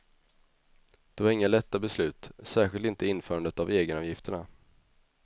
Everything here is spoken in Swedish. Det var inga lätta beslut, särskilt inte införandet av egenavgifterna.